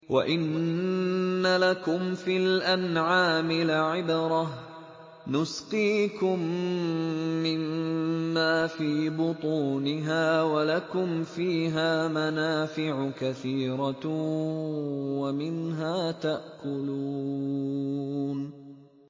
وَإِنَّ لَكُمْ فِي الْأَنْعَامِ لَعِبْرَةً ۖ نُّسْقِيكُم مِّمَّا فِي بُطُونِهَا وَلَكُمْ فِيهَا مَنَافِعُ كَثِيرَةٌ وَمِنْهَا تَأْكُلُونَ